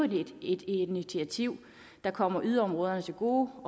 et initiativ der kommer yderområderne til gode